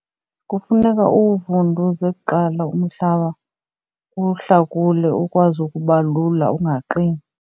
Kufuneka uwuvunduze kuqala umhlaba uwuhlakule ukwazi ukuba lula angaqini.